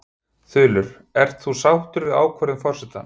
Þulur: Ert þú sáttur við ákvörðun forsetans?